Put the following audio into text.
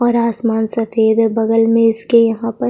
और आसमान सफ़ेद है बगल में इसके यहाँ पर--